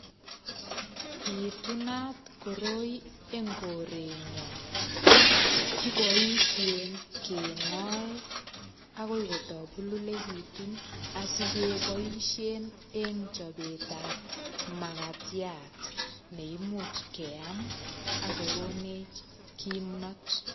Bitunat koroi en korenyon kiboishen kengoe akoi kotopululekitu asikeboishen eng chobet ap makatiat neimuch keam akokonech kimnot.